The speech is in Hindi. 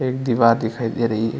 एक दीवार दिखाई दे रही है।